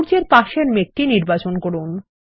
সূর্য এর পাশের মেঘটি নির্বাচন করুন